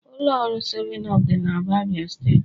Ụlọ ọrụ 7up dị n'Aba, Abia steeti.